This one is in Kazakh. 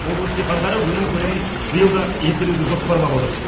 облыс диқандары өнім көлемін биыл да еселеуді жоспарлап отыр